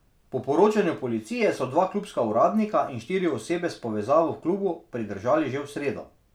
Po poročanju policije so dva klubska uradnika in štiri osebe s povezavo v klubu pridržali že v sredo.